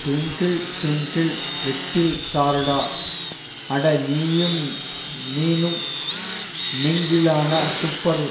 Twinkle twinkle little ஸ்டாருடா அட நீயும் நீனும் மிங்கிளானா சூப்பர்